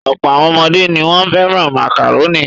Ọ̀pọ̀ àwọn ọmọdé ni wọ́n fẹ́ràn màkàrónì.